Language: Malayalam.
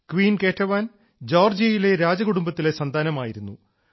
ക്വീൻ കേറ്റവാൻ ജോർജ്ജിയയിലെ രാജകുടുംബത്തിലെ സന്താനമായിരുന്നു